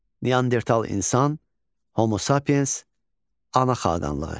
Neandertal insan, Homo Sapiens, ana xəttanlığı.